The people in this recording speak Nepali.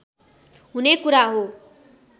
हुने कुरा हो